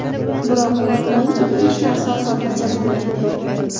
Biroq unutmangki, hech narsa osonlikcha bo‘lmaydi.